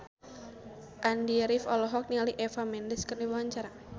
Andy rif olohok ningali Eva Mendes keur diwawancara